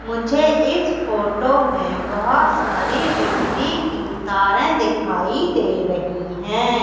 मुझे इस फोटो मे बहोत सारी बिजली की तारे दिखाई दे रहे है।